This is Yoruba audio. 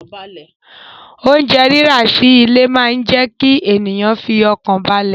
Oúnjẹ rírà sí ilé máa jẹ kí ènìyàn fi ọkàn balẹ̀